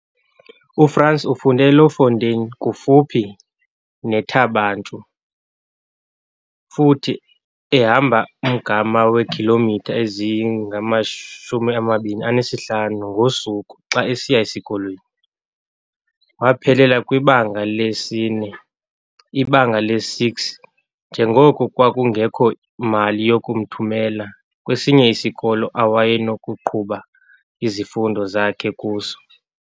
UFrans ufunde eLouwfontein kufuphi neThaba Nchu futhi ehamba umgama weekhilomitha eziyi-25 ngosuku xa esiya esikolweni. Waphelela kwiBanga lesi-4, iBanga lesi-6, njengoko kwakungekho mali yokumthumela kwesinye isikolo awayenokuqhuba izifundo zakhe kuso.